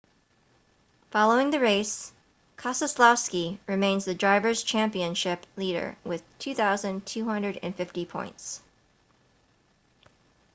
following the race keselowski remains the drivers' championship leader with 2,250 points